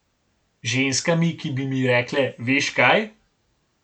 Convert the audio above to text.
Ženskami, ki bi mi rekle: 'Veš kaj?